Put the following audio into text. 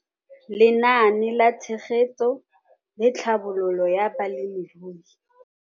Lenaane la Tshegetso le Tlhabololo ya Balemirui.